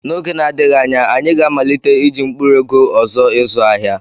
N'oge na-adịghị anya, anyị ga-amalite iji mkpụrụ ego ọzọ ịzụ ahịa.